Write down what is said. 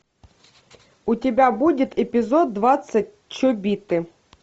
у тебя будет эпизод двадцать чобиты